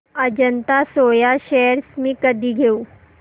Ajanta Soya shares मी कधी घेऊ